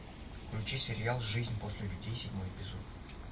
включи сериал жизнь после людей седьмой эпизод